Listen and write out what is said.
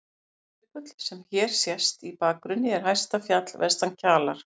Eiríksjökull, sem hér sést í bakgrunni, er hæsta fjall vestan Kjalar.